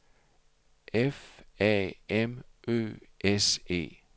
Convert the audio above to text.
F A M Ø S E